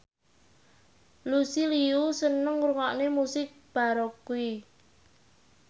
Lucy Liu seneng ngrungokne musik baroque